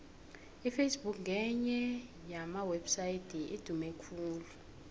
iface book ngenye yamawepsaydi adume khulu